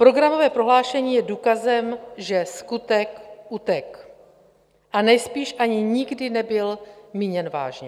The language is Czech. Programové prohlášení je důkazem, že skutek utek, a nejspíš ani nikdy nebyl míněn vážně.